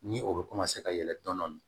Ni o bɛ ka yɛlɛ dɔni